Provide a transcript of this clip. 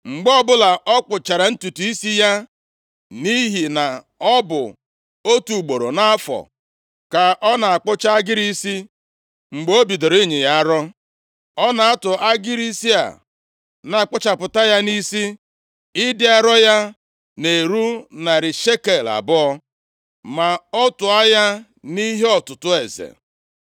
Mgbe ọbụla ọ kpụchara ntutu isi ya, nʼihi na ọ bụ otu ugboro nʼafọ ka ọ na-akpụcha agịrị isi mgbe o bidoro ịnyị ya arọ. Ọ na-atụ agịrị isi a na-akpụchapụta ya nʼisi, ịdị arọ ya na-eru narị shekel abụọ + 14:26 Nke a bụ kilo abụọ na ụma atọ ma a tụọ ya nʼihe ọtụtụ eze.